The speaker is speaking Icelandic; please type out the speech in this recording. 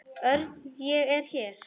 Örn, ég er hér